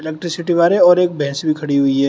Electricity wire है और एक भैंस भी खड़ी हुई है।